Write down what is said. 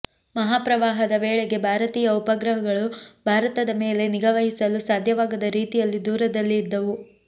ಮಹಾ ಪ್ರವಾಹದ ವೇಳೆಗೆ ಭಾರತೀಯ ಉಪಗ್ರಹಗಳು ಭಾರತದ ಮೇಲೆ ನಿಗಾ ವಹಿಸಲು ಸಾಧ್ಯವಾಗದ ರೀತಿಯಲ್ಲಿ ದೂರದಲ್ಲಿ ಇದ್ದವು